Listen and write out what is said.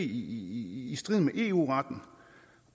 i strid med eu retten